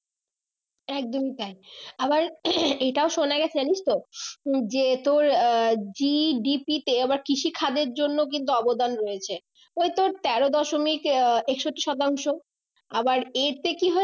একদমই তাই আবার এটা শোনা গেছে জানিস তো যে তোর আহ GDP তে কৃষি খাদের জন্য কিন্তু অবদান রয়েছে ওই তোর তেরো দশমিক আহ একষট্টি শতাংশ আবার এতে কি হয়